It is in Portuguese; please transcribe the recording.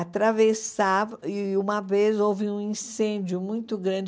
atravessava e, uma vez, houve um incêndio muito grande.